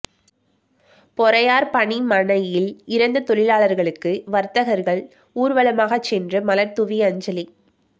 பொறையார் பணிமனையில் இறந்த தொழிலாளர்களுக்கு வர்த்தகர்கள் ஊர்வலமாக சென்று மலர்தூவி அஞ்சலி